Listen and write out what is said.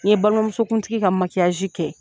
N ye balimamusokuntigi ka kɛ.